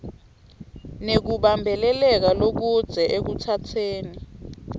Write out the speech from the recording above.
nekubambeleleka lokudze ekutsatseni